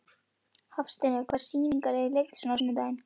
Hafsteina, hvaða sýningar eru í leikhúsinu á sunnudaginn?